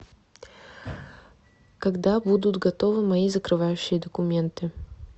когда будут готовы мои закрывающие документы